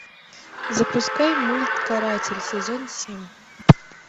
запускай мульт каратель сезон семь